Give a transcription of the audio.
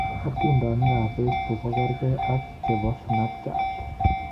Atindionic ab Facebook kongergei ak chebo Snapchat.